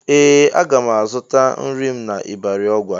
Ee! Aga m azụta nri m n'ịbarị Ọgwa.